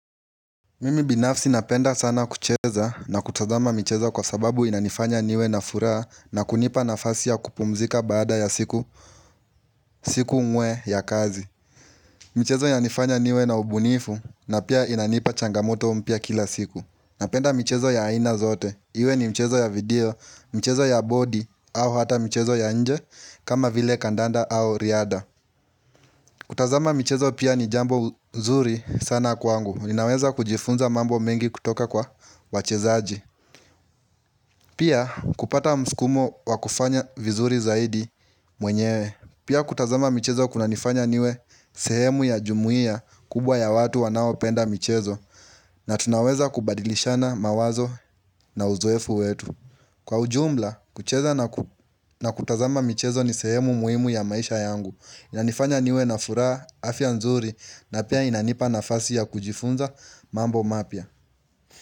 Mimi binafsi napenda sana kucheza na kutazama michezo kwa sababu inanifanya niwe na furaha na kunipa nafasi ya kupumzika baada ya siku siku umwe ya kazi michezo yananifanya niwe na ubunifu na pia inanipa changamoto mpya kila siku Napenda michezo ya aina zote, iwe ni mchezo ya video, mchezo ya bodi au hata mchezo ya nje kama vile kandanda au riadha kutazama michezo pia ni jambo zuri sana kwangu. Ninaweza kujifunza mambo mengi kutoka kwa wachezaji. Pia kupata msukumo wa kufanya vizuri zaidi mwenyewe. Pia kutazama michezo kunanifanya niwe sehemu ya jumuiya kubwa ya watu wanaopenda michezo na tunaweza kubadilishana mawazo na uzoefu wetu. Kwa ujumla, kucheza na kutazama michezo ni sehemu muhimu ya maisha yangu Inanifanya niwe na furaha afya nzuri na pia inanipa nafasi ya kujifunza mambo mapya.